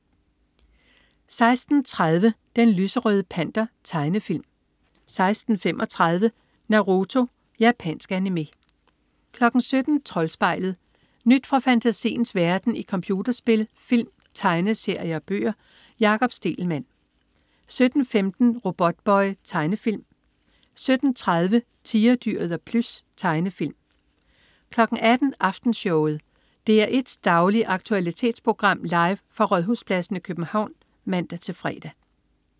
16.30 Den lyserøde Panter. Tegnefilm 16.35 Naruto. Japansk animé 17.00 Troldspejlet. Nyt fra fantasiens verden i computerspil, film, tegneserier og bøger. Jakob Stegelmann 17.15 Robotboy. Tegnefilm 17.30 Tigerdyret og Plys. Tegnefilm 18.00 Aftenshowet. DR1s daglige aktualitetsprogram, live fra Rådhuspladsen i København (man-fre)